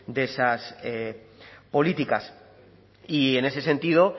de esas políticas y en ese sentido